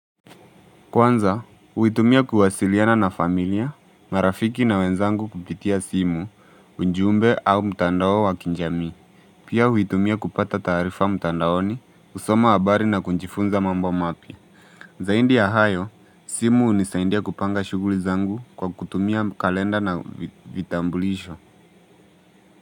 Kwanza, huitumia kuwasiliana na familia, marafiki na wenzangu kupitia simu, ujumbe au mtandao wa kijamii. Pia huitumia kupata taarifa mtandaoni, kusoma habari na kujifunza mambo mapi. Zaidi ya hayo, simu hunisaindia kupanga shughuli zangu kwa kutumia kalenda na vitambulisho.